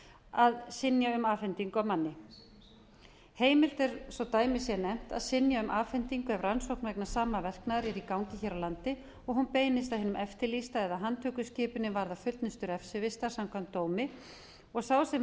að synja um afhendingu á manni heimilt er svo dæmi sé nefnt að synja um afhendingu ef rannsókn vegna sama verknaðar er í gangi hér á landi og hún beinist að hinum eftirlýsta eða handtökuskipunin varðar fullnustu refsivistar samkvæmt dómi og sá sem